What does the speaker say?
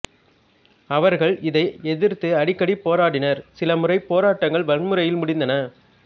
அவர்கள் இதை எதிர்த்து அடிக்கடி போராடினர் சிலமுறை போராட்டங்கள் வன்முறையில் முடிந்தன